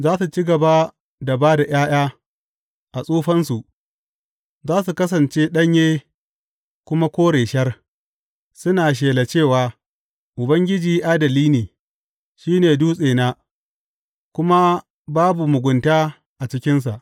Za su ci gaba da ba da ’ya’ya a tsufansu, za su kasance ɗanye kuma kore shar, suna shela cewa, Ubangiji adali ne; shi ne Dutsena, kuma babu mugunta a cikinsa.